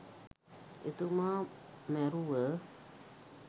එතුමා මැරුව